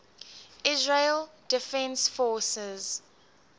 israel defense forces